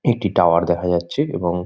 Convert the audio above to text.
একটি টাওয়ার দেখা যাচ্ছে এবং--